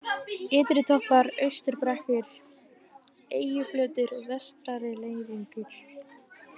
Ytritoppar, Austurbrekkur, Eyjuflötur, Vestari-Leyningur